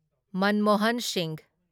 Manmohan Singh